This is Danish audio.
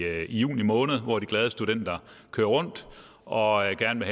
juni måned hvor de glade studenter kører rundt og gerne